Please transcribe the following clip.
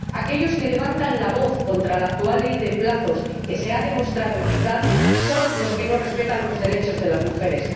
Aquellos que levantan la voz contra la actual ley de plazos, que ha demostrado ser eficaz, son los que no respetan los derechos de las mujeres